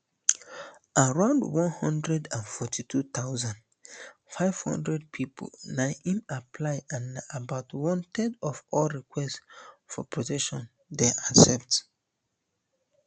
around one hundred and forty-two thousand, five hundred pipo na im apply and na about one third of all requests for protection dem accept